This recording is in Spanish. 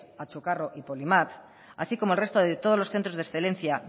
achucarro y polymat así como el resto de todos los centros de excelencia